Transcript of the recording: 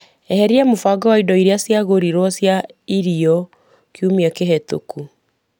Eheria mũbango wa indo iria cia gũrirwo cia irio kiumia kĩhetũku.